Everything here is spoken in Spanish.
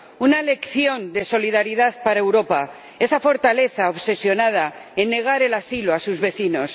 una lección de solidaridad para Europa, esa fortaleza obsesionada en negar el asilo a sus vecinos.